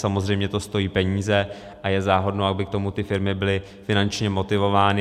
Samozřejmě to stojí peníze a je záhodno, aby k tomu ty firmy byly finančně motivovány.